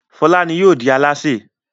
Fọlá ni yóò di alásè.